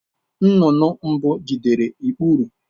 Nnụnụ mbụ jidere ikpuru.